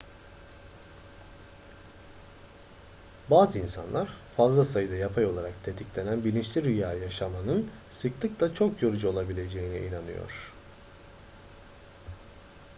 bazı insanlar fazla sayıda yapay olarak tetiklenen bilinçli rüya yaşamanın sıklıkla çok yorucu olabileceğine inanıyor